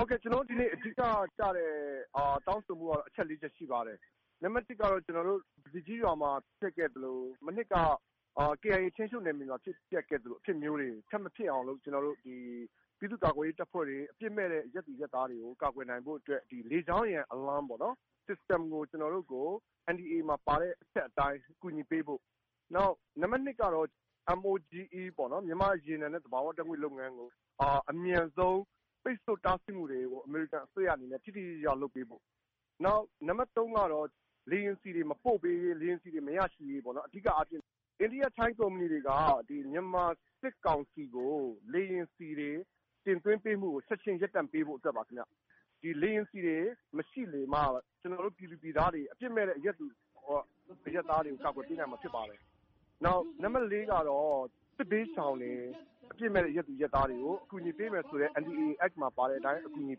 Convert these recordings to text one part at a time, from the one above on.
ဟုတ်ကဲ့၊ ကျနော်တို့ ဒီနေ့ အဓိကကျတဲ့တောင်းဆိုမှုကတော့ အချက်လေးချက် ရှိပါတယ်။ နံပါတ် ကတော့ အခု ပဇီကြီးကျေးရွာမှာဖြစ်ခဲ့သလို မနှစ်က KIA ထိန်းချုပ်နယ်မြေမှာဖြစ်ခဲ့သလို အဖြစ်မျိုးတွေ ထပ်မဖြစ်အောင်လို့ ပြည်သူ့ကာကွယ်ရေးတပ်ဖွဲ့တွေ၊ အပြစ်မဲ့တဲ့အရပ်သူအရပ်သားတွေကို ကာကွယ်နိုင်ဖို့အတွက် လေကြောင်းရန် alarm system ကို ကျနော်တို့ကို NDAA မှာပါတဲ့အချက်အတိုင်း အကူအညီပေးဖို့။ နံပါတ် ကတော့ MOGE ပေါ့နော်- မြန်မာ့ရေနံနဲ့သဘာဝဓာတ်ငွေ့လုပ်ငန်းကို အမြန်ဆုံး ပိတ်ဆို့တားဆီးမှုတွေကို အမေရိကန်အစိုးရအနေနဲ့ ထိထိရောက်ရောက် လုပ်ပေးဖို့။ နံပါတ် ကတော့ လေယာဉ်ဆီတွေ မပို့ပေးရေး၊ လေယာဉ်ဆီတွေမရရှိရေးပေါ့နော်။ အဓိကအားဖြင့်....ထိုင်းကုမ္ပဏီတွေက မြန်မာစစ်ကောင်စီကို လေယာဉ်ဆီတွေ တင်သွင်းပေးမှုတွေကို ချက်ခြင်းရပ်တန့်ပေးဖို့အတွက်ပါခင်ဗျ။ ဒီ လေယာဉ်ဆီတွေမရှိစေမှ ကျနော်တို့ ပြည်သူပြည်သားတွေ၊ အပြစ်မဲ့တဲ့အရပ်သူအရပ်သားတွေကို ကာကွယ်ပေးနိုင်မှာဖြစ်ပါတယ်။ နောက် နံပါတ် ကတော့ စစ်ဘေးရှောင်တွေ၊ အပြစ်မဲ့တဲ့အရပ်သူအရပ်သားတွေကို အကူအညီပေးမယ်ဆိုတဲ့ NDAA အက် မှာပါတဲ့အတိုင်း အကူအညီ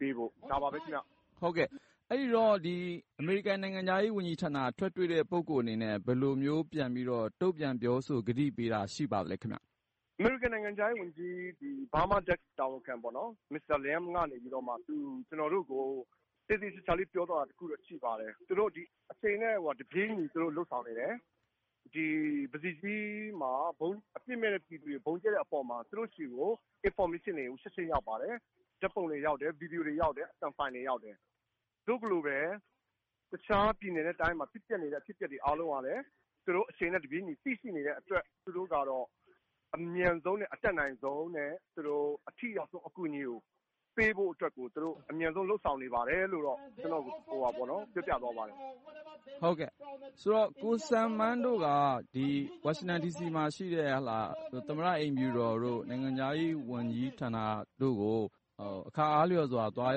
ပေးဖို့။ ဒါပါပဲခင်ဗျ။ မေး။ ။ ဟုတ်ကဲ့၊ အမေရိကန်နိုင်ငံခြားရေးဝန်ကြီးဌာနက ထွက်တွေ့တဲ့ပုဂ္ဂိုလ်အနေနဲ့ ဘယ်လိုမျိုး ပြန်ပြီးတော့ တုံ့ပြန်ပြောဆို ကတိပေးတာ ရှိပါသလဲခင်ဗျ။ ကိုစံမန်း။ ။ မစ္စတာ Liam McGum ကနေပြီးမှ ကျနော်တို့ကို သေသေချာချာလေး ပြောသွားတာတခုတော့ ရှိပါတယ်။ အချိန်နဲ့တပြေးညီ သူတို့လုပ်ဆောင်နေတယ်၊ အပြစ်မဲ့တဲ့ပြည်သူတွေကို ဗုံးကြဲတဲ့အပေါ်မှာ 'သူတို့ဆီကို အင်ဖော်မေးရှင်းတွေ ချက်ခြင်းရပါတယ်၊ ဓာတ်ပုံတွေရောက်တယ်၊ ဗွီဒီယိုတွေရောက်တယ်၊ အသံဖိုင်တွေရောက်တယ်။ သို့ကလိုပဲ တခြားပြည်နယ်နဲ့တိုင်းတွေမှာ ဖြစ်ပျက်နေတဲ့ အဖြစ်အပျက်တွေအားလုံးကလည်း သူတို့အချိန်နဲ့တပြေးညီသိရှိနေတဲ့အတွက် သူတို့ကတော့ အမြန်ဆုံးနဲ့ အတတ်နိုင်ဆုံးနဲ့ အထိရောက်ဆုံးအကူအညီပေးဖို့အတွက်ကို သူတို့ အမြန်ဆုံးလုပ်ဆောင်နေပါတယ်' လို့တော့ ပြောပြသွားပါတယ်။ မေး။ ။ ဟုတ်ကဲ့၊ ဆိုတော့...ကိုစံမန်းတို့က ဒီ ဝါရှင်တန်ဒီစီမှာရှိတဲ့ သမ္မတအိမ်ဖြူတော်တို့၊ နိုင်ငံခြားရေးဝန်ကြီးဌာနတို့ကို အခါအားလျော်စွာသွား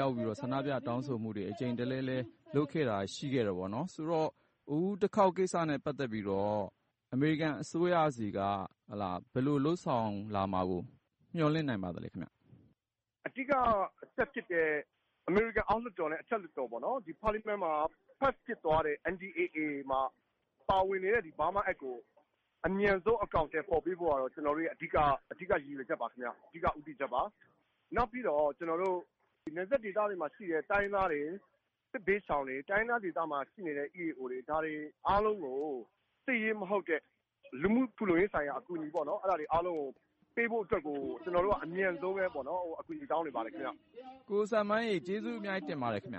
ရောက်ပြီးတော့ ဆန္ဒပြတောင်းဆိုမှုတွေ အကြိမ်တလဲလဲ လုပ်ခဲ့တာရှိတော့...ဆိုတော့ အခုတခေါက် ကိစ္စနဲ့ပတ်သက်ပြီးတော့ အမေရိကန်အစိုးရဆီက ဘယ်လိုလုပ်ဆောင်လာမှာကို မျှော်လင့်နိုင်ပါသလဲခင်ဗျ။ ကိုစံမန်း။ ။ အဓိကအချက်ဖြစ်တဲ့ အမေရိကန်အောက်လွှတ်တော်နဲ့ အထက်လွှတ်တော်ပေါ့နော်၊ ပါလီမန်မှာ pass ဖြစ်သွားတဲ့ NDAA မှာ ပါဝင်နေတဲ့ Burma Act ကို အမြန်ဆုံးအကောင်အထည်ဖော်ပေးဖို့ကတော့ ကျနော်တို့ရဲ့ အဓိကရည်ရွယ်ချက်ပါခင်ဗျ။ အဓိကဦးတည်ချက်ပါ။ နောက်ပြီးတော့ ကျနော်တို့ နယ်စပ်ဒေသတွေမှာရှိတဲ့ တိုင်းရင်းသားတွေ၊ စစ်ဘေးရှောင်တွေ၊ တိုင်းရင်းသားဒေသတွေမှာရှိနေတဲ့ EAO တွေ၊ ဒါတွေအားလုံးကို စစ်ရေးမဟုတ်တဲ့ လူမှုဖူလုံရေးဆိုင်ရာအကူအညီပေါ့နော်၊ အဲဒါတွေအားလုံးကို ပေးဖို့အတွက်ကို ကျနော်တို့က အမြန်ဆုံးလည်း အကူအညီတောင်းနေပါတယ်ခင်ဗျ။ ကိုဉာဏ်ဝင်းအောင်။ ။ ကိုစံမန်းရေ၊ ကျေးဇူးအများကြီး တင်ပါတယ်ခင်ဗျ